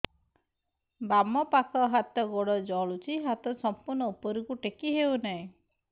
ବାମପାଖ ହାତ ଗୋଡ଼ ଜଳୁଛି ହାତ ସଂପୂର୍ଣ୍ଣ ଉପରକୁ ଟେକି ହେଉନାହିଁ